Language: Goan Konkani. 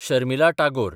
शर्मिला टागोर